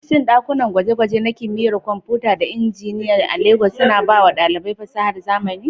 Shin ɗakunan gwaje-gwaje na Kimiyyar Kwamfuta da Injiniyan Injiniya a Legas suna ba wa ɗalibai fasahar zamani?